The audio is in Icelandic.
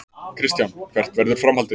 Kristján: Hvert verður framhaldið?